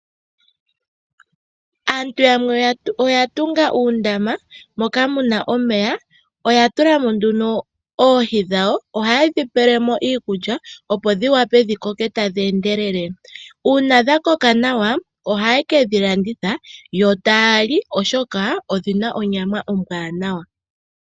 Aantu yamwe oya tunga uundama, moka muna omeya, oya tula mo nduno oohi dhawo, oha yedhi pelemo iikulya opo dhi wape dhi koke tadhi endelele. Uuna dha koka nawa, oha ye kedhi landitha, yo taya li, oshoka odhina onyama ombwaanawa.